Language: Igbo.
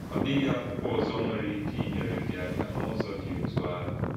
Ọ̀ dị̀ghị ákwụ́kwọ ọ̀zọ̀ nwèrè íké ínyèrè gị ákà n’ụ̀zọ̀ dị́ ọ́tụ́ áhụ.